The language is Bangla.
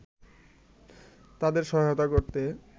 তাঁদের সহায়তা করতে